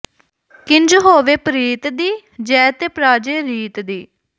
ਕਿੰਜ ਹੋਵੇ ਪ੍ਰੀਤ ਦੀ ਜੈ ਤੇ ਪ੍ਰਾਜੈ ਰੀਤ ਦੀ